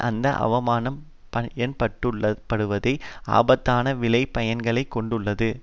அந்த ஆவணம் பயன்படுத்தப்படுவது ஆபத்தான விளை பயன்களை கொண்டுள்ளது